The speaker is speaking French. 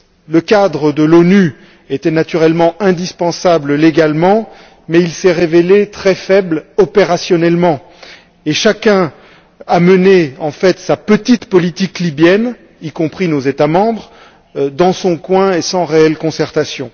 Le cadre de l'ONU était, naturellement, indispensable légalement mais il s'est révélé très faible opérationnellement et chacun a mené, en fait, sa petite politique libyenne y compris nos États membres dans son coin et sans réelle concertation.